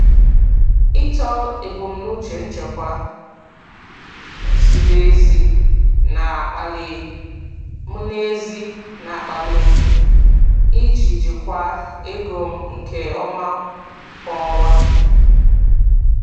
Ịtọ ebumnuche nchekwa ziri ezi na-akpali m ezi na-akpali m iji jikwaa ego m nke ọma kwa ọnwa.